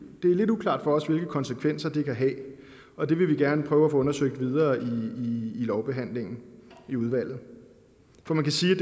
lidt uklart for os hvilke konsekvenser det kan have og det vil vi gerne prøve at få undersøgt videre i lovbehandlingen i udvalget for man kan sige at